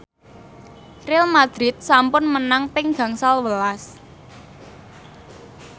Real madrid sampun menang ping gangsal welas